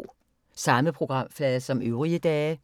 Samme programflade som øvrige dage